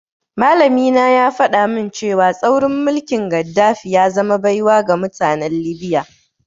Malamina ya faɗa min cewa tsaurin mulkin Gaddafi ya zama baiwa ga mutanen Libya.